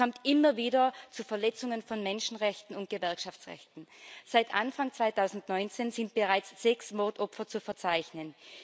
Es kommt immer wieder zu Verletzungen von Menschenrechten und Gewerkschaftsrechten. Seit Anfang 2019 sind bereits sechs Mordopfer zu verzeichnen.